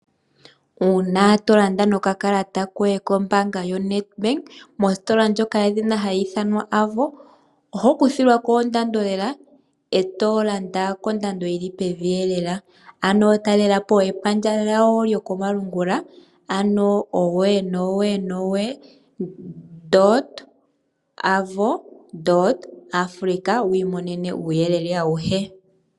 Uuna to landa nokakalata koye kombaanga yoNedbank mositola ndjoka yedhina hayi ithanwa Avo , oho kuthilwa ko ondando lela e to landa kondando yi li pevi eelela. Ano talela po epandja lyawo lyokomalungula ano www.avo.africa wu imonene uuyelele awuhe.